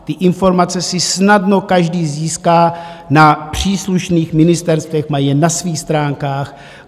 Ty informace si snadno každý získá na příslušných ministerstvech, mají je na svých stránkách.